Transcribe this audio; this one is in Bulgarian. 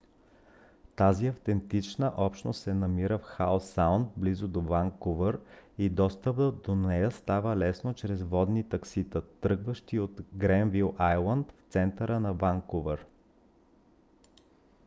тази автентична общност се намира в хау саунд близо до ванкувър и достъпът до нея става лесно чрез водни таксита тръгващи от гренвил айлънд в центъра на ванкувър